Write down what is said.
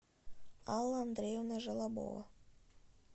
алла андреевна желобова